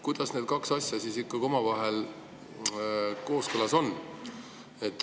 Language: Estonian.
Kuidas need kaks asja omavahel kooskõlas on?